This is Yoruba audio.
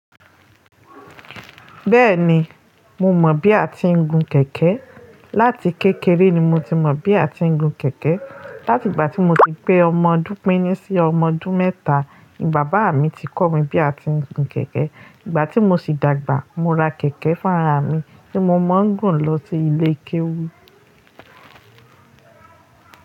Bẹ́ẹ̀ni, mo mọ̀ bí a ti ń gun kẹ̀kẹ́. Láti kékeré ni mo ti mọ̀ bí a ti ń gun kẹ̀kẹ́. Láti ìgbà tí mo ti pé ọmọ dúdú pín ní sí ọmọ ọdún mẹ́ta ni bàbá mi ti kọ́ mi bí a ti ń gun kẹ̀kẹ́. Ìgbà tí mo sì dàgbà, mo ra kẹ̀kẹ́ fún ara ra mi tí mo máa ń gùn lọ sí ilé kéwú.